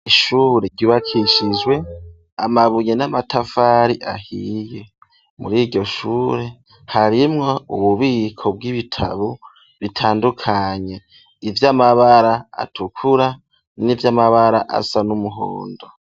Ishuri ryubakishijwe, amabuye, n'amatafari ahiye; muri iryo shure, harimwo ububiko bw'ibitabo, bitandukanye; ivy'amabara atukura, n'ivy'amabara, asa n'umuhondo.